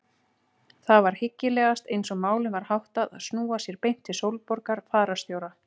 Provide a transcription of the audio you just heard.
Það var hyggilegast eins og málum var háttað að snúa sér beint til Sólborgar fararstjóra.